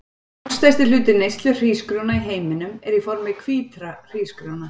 Langstærsti hluti neyslu hrísgrjóna í heiminum er í formi hvítra hrísgrjóna.